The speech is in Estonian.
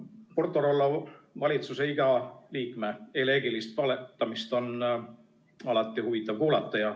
Porto-Rollo valitsuse iga liikme eleegilist valetamist on alati huvitav kuulata.